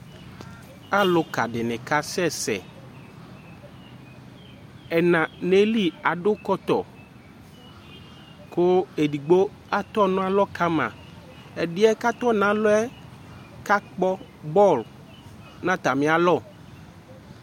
Alʋka dɩnɩ kasɛsɛ, ɛna nʋ ayili adʋ kɔtɔ, kʋ edigbo atɔ nʋ alɔ ka ma, ɛdɩ yɛ kʋ atɔ nʋ alɔ yɛ kakpɔ bɔlʋ nʋ atamɩ alɔ